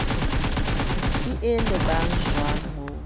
ke e lebang jwaleng ho